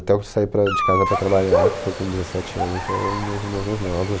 Até eu sair para de casa para trabalhar, que foi com dezessete anos, eram meus irmãos mais novos.